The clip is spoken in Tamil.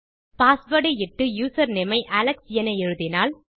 பாஸ்வேர்ட் ஐ இட்டு யூசர்நேம் ஐ அலெக்ஸ் என எழுதினால்